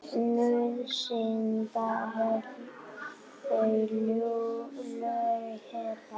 Nauðsyn braut þau lög, herra.